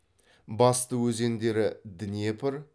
басты өзендері днепр